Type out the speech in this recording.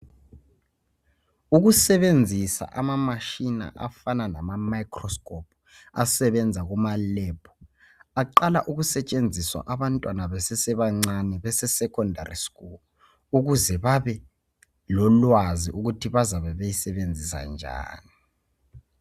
Ukusebenzisa amamatshina afana lama microscope asebenza kumalebhu, aqala ukusetshenziswa abantwana besesebancane bese secondary school ukuze babe lolwazi ukuthi bazabe beyisebenzisa njani.